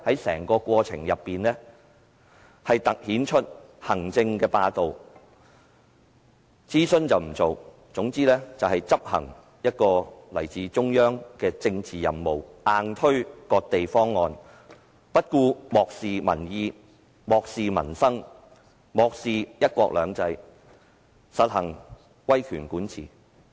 整個過程更凸顯行政霸道，政府不進行諮詢，只顧執行來自中央的政治任務，硬推"割地"方案，漠視民意，漠視民生，漠視"一國兩制"，實行威權管治。